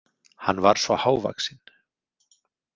Hann var svo hávaxinn.